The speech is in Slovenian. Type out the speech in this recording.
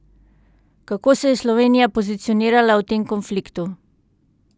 Kako se je Slovenija pozicionirala v tem konfliktu?